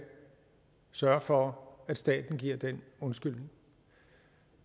sørge for at staten giver den undskyldning